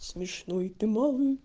смешной ты малый